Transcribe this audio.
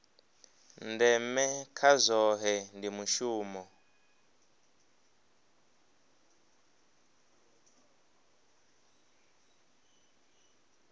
ndeme kha zwohe ndi mushumo